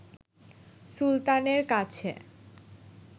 সুলতানের কাছে